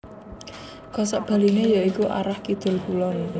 Kosok baliné ya iku arah Kidul Kulon